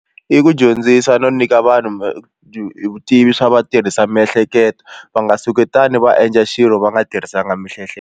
I ku dyondzisa no nyika vanhu vutivi swa va tirhisa miehleketo va nga suketana va endla xilo va nga tirhisanga .